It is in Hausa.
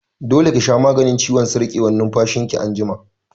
Dole ki sha maganin ciwon sarƙewar numfashin ki anjima!